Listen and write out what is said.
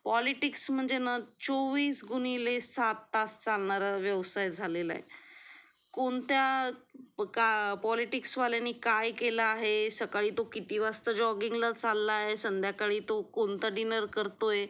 politics म्हणजे ना चोवीस गुणिले सात तास चालणारा व्यवसाय झालेला आहे कोणत्या का पॉलिटिक्स वाल्यानी काय केले आहे सकाळी तो किती वाजता जॉगिंग ला चाललंय संध्याकाळी तो कोणता डिनर करतोय